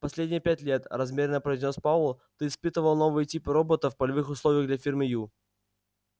последние пять лет размеренно произнёс пауэлл ты испытывал новые типы роботов в полевых условиях для фирмы ю